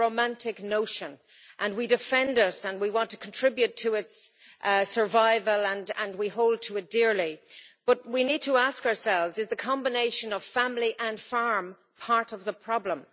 It's a romantic notion and we defend it and we want to contribute to its survival and we hold it dear, but we need to ask ourselves is the combination of family and farm part of the problem?